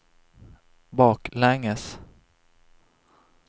baklänges